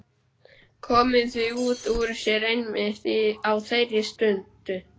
Komið því út úr sér einmitt á þeirri stundu.